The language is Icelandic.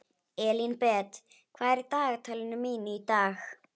Elínbet, hvað er í dagatalinu mínu í dag?